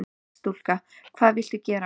Starfsstúlka: Hvað viltu gera?